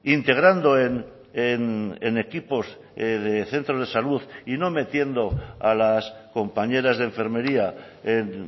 integrando en equipos de centros de salud y no metiendo a las compañeras de enfermería en